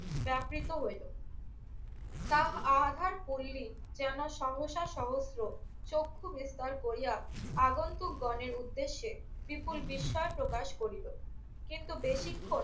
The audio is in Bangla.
যাত্রিত হইল। তাহ আধার পল্লী যেন শংসা সহস্র চক্ষূ বিস্তার করিয়া আগন্তুকগণের উদ্দেশ্যে বিপুল বিস্ময় প্রকাশ করিল। কিন্তু বেশিক্ষণ